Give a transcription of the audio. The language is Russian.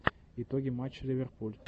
итоги матча ливерпуль